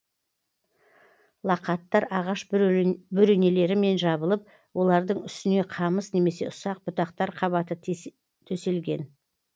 лақаттар ағаш бөренелерімен жабылып олардың үстіне қамыс немесе ұсақ бұтақтар қабаты төселген